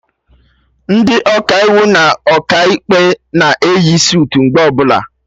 Ndị Ọkaiwu na Ọkaikpe na eyi sutu mgbe ọbụla